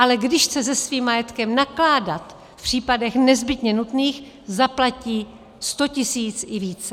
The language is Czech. Ale když chce se svým majetkem nakládat v případech nezbytně nutných, zaplatí 100 tisíc i více.